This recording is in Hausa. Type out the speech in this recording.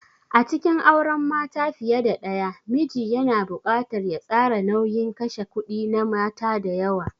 A cikin auren mata fiye da daya, miji yana buƙatar ya tsara nauyin kashe kudi na mata da yawa.